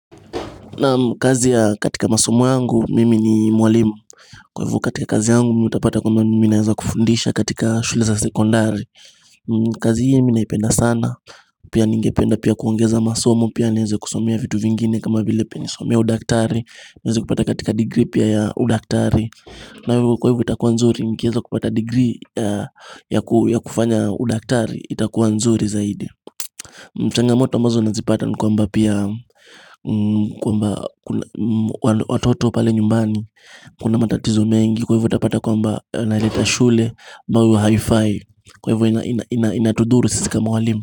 Naam kazi ya katika masomu yangu mimi ni mwalimu Kwa hivyo katika kazi yangu mimi utapata kwamba mimi ninaweza kufundisha katika shule za sekondari kazi hii mi naipenda sana Pia ningependa pia kuongeza masomu Pia nienze kusomea vitu vingine kama vile pia nisomee udaktari niweze kupata katika degree pia ya udaktari nao kwa hivyo itakuwa nzuri nikiweza kupata degree ya kufanya udaktari itakuwa nzuri zaidi ni Mchangamoto ambazo nazipata kwamba pia kwamba watoto pale nyumbani Kuna matatizo mengi Kwa hivyo utapata kwamba naleta shule ambayo haifai Kwa hivyo ina inatudhuru sisi kama walimu.